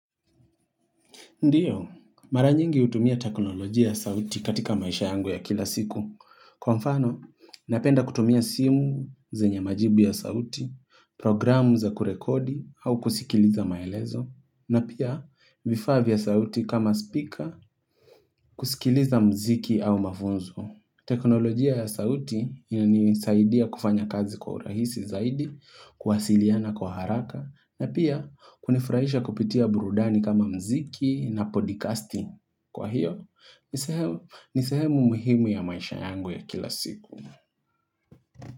Ndiyo, mara nyingi hutumia teknolojia ya sauti katika maisha yangu ya kila siku. Kwa mfano, napenda kutumia simu zenye majibu ya sauti, programu za kurekodi au kusikiliza maelezo, na pia vifaa vya sauti kama speaker kusikiliza mziki au mafunzo. Teknolojia ya sauti inanisaidia kufanya kazi kwa urahisi zaidi, kuwasiliana kwa haraka, na pia kunifrahisha kupitia burudani kama mziki na podcasting. Kwa hiyo, nisehe nisehemu muhimu ya maisha yangu ya kila siku.